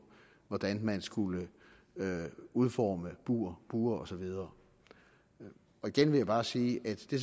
hvordan man skulle udforme bure bure og så videre igen vil jeg bare sige at det